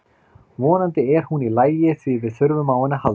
Vonandi er hún í lagi því við þurfum á henni að halda.